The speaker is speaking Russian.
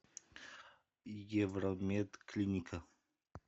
евромед клиника